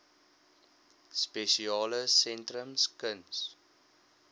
spesiale sentrums kuns